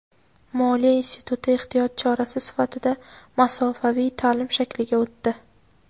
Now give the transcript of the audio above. Moliya instituti ehtiyot chorasi sifatida masofaviy ta’lim shakliga o‘tdi.